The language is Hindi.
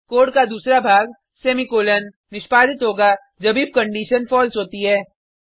कोड का दूसरा भाग सेमीकॉलन निष्पादित होगा जब इफ कंडिशन फलसे होती है